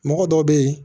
Mɔgɔ dɔw bɛ yen